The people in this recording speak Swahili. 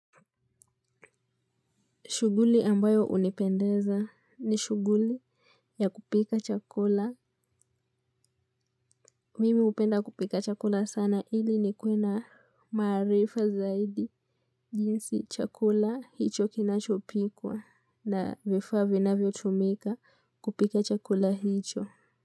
Shughuli ambayo unipendeza ni shughuli ya kupika chakula. Mimi upenda kupika chakula sana ili nikuwe na maarifa zaidi. Jinsi chakula hicho kinachopikwa na vifaa vinavyotumika kupika chakula hicho.